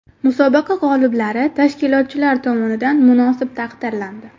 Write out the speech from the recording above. Musobaqa g‘oliblari tashkilotchilar tomonidan munosib taqdirlandi.